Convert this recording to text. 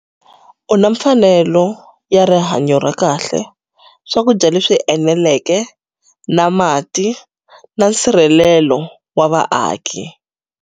U na mfanelo ya rihanyo ra kahle, swakudya leswi eneleke na mati na nsirhelelo wa vaaki